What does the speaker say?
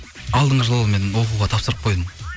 алдыңғы жылы мен оқуға тапсырып қойдым